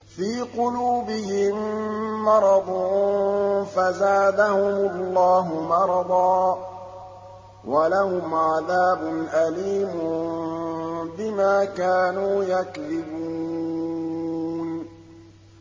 فِي قُلُوبِهِم مَّرَضٌ فَزَادَهُمُ اللَّهُ مَرَضًا ۖ وَلَهُمْ عَذَابٌ أَلِيمٌ بِمَا كَانُوا يَكْذِبُونَ